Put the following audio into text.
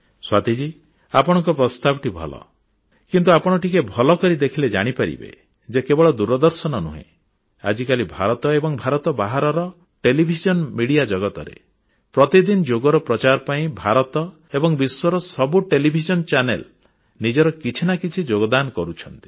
ସ୍ୱାତୀଜୀ ଆପଣଙ୍କ ପ୍ରସ୍ତାବଟି ଭଲ କିନ୍ତୁ ଆପଣ ଟିକିଏ ଭଲ କରି ଦେଖିଲେ ଜାଣିପାରିବେ ଯେ କେବଳ ଦୂରଦର୍ଶନ ନୁହେଁ ଆଜିକାଲି ଭାରତ ଏବଂ ଭାରତ ବାହାରର ଟେଲିଭିଜନ ମିଡିଆ ଜଗତରେ ପ୍ରତିଦିନ ଯୋଗର ପ୍ରଚାର ପାଇଁ ଭାରତ ଏବଂ ବିଶ୍ୱର ସବୁ ଟେଲିଭିଜନ ଚ୍ୟାନେଲ ନିଜର କିଛି ନା କିଛି ଯୋଗଦାନ କରୁଛନ୍ତି